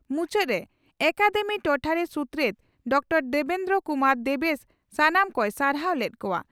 ᱢᱩᱪᱟᱹᱫᱽᱨᱮ academy ᱴᱚᱴᱷᱟᱨᱤ ᱥᱩᱛᱨᱮᱛ doctor Debendra Kumar Debesh ᱥᱟᱱᱟᱢ ᱠᱚᱭ ᱥᱟᱨᱦᱟᱣ ᱞᱮᱫ ᱠᱚᱜᱼᱟ ᱾